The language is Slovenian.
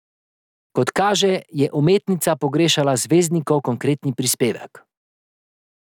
Kot kaže, je umetnica pogrešala zvezdnikov konkretni prispevek.